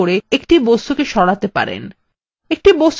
একটি বস্তু সরানো বেশ সহজ তাই নয় কি